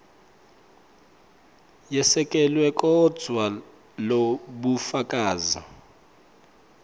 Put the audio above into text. yesekelwe kodvwa lobufakazi